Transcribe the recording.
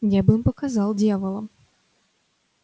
я бы им показал дьяволам